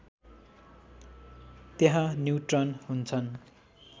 त्यहाँ न्युट्रन हुन्छन्